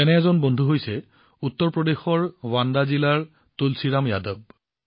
তেনে এজন বন্ধু হৈছে উত্তৰপ্ৰদেশৰ বান্দা জিলাৰ তুলসীৰাম যাদৱ